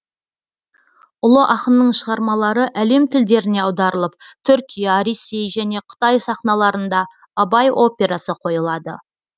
ұлы ақынның шығармалары әлем тілдеріне аударылып түркия ресей және қытай сахналарында абай операсы қойылады